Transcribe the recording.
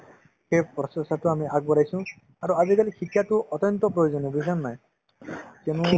সেই process তে আমি আগবঢ়াইছো আৰু আজিকালি শিক্ষাতো অত্যন্ত প্ৰয়োজনীয় বুজিছা নে নাই কিয়নো